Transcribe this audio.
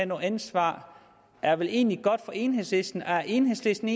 noget ansvar er vel egentlig godt for enhedslisten er enhedslisten